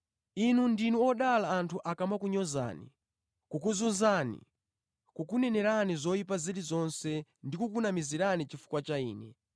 “Inu ndinu odala anthu akamakunyozani, kukuzunzani, kukunenerani zoyipa zilizonse ndi kukunamizirani chifukwa cha Ine.